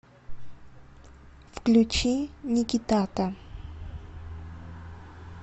включи никитата